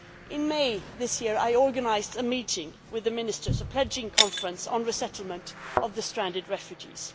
In May this year I organised a meeting with the Ministers, a pledging conference on resettlement of the stranded refugees.